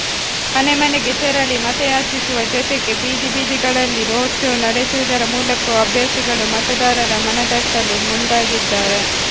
ಮನೆ ಮನೆಗೆ ತೆರಳಿ ಮತಯಾಚಿಸುವ ಜೊತೆಗೆ ಬೀದಿ ಬೀದಿಗಳಲ್ಲಿ ರೋಡ್ ಶೋ ನಡೆಸುವುದರ ಮೂಲಕವು ಅಭ್ಯರ್ಥಿಗಳು ಮತದಾರರ ಮನತಟ್ಟಲು ಮುಂದಾಗಿದ್ದಾರೆ